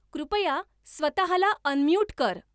कृपया स्वतःला अनम्यूट कर